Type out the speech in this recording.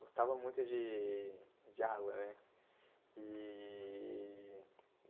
Gostava muito de de água, né? E